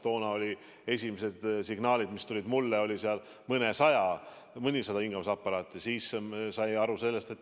Toona olid esimesed signaalid, mis tulid mulle, et oli mõnisada hingamisaparaati.